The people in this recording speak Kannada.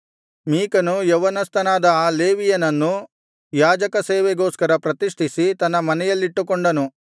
ಮೀಕನು ಯೌವನಸ್ಥನಾದ ಆ ಲೇವಿಯನನ್ನು ಯಾಜಕಸೇವೆಗೋಸ್ಕರ ಪ್ರತಿಷ್ಠಿಸಿ ತನ್ನ ಮನೆಯಲ್ಲಿಟ್ಟುಕೊಂಡು